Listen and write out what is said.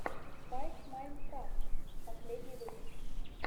спайк майнкрафт последний выпуск